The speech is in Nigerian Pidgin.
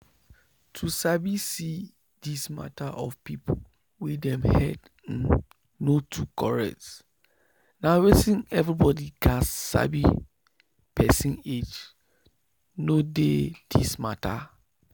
to sabi see this mata of people wey dem head um no too correct na weyth everybody gats sabi person age no dey this mata